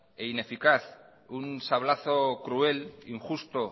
e ineficaz un sablazo cruel injusto